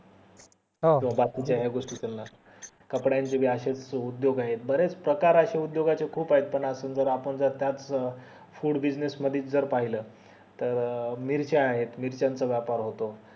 हो हो बाकी चे या गोष्टी चालणार कपड्यांचे पणअशे च उदोग आहेत बरेच प्रकारचे उदोगाचे खूप आहेत पण अजून जर आपण जर त्याच food business मध्येच जर पाहिलं तर मिरच्या आहे मिरच्या चा व्यापार होतो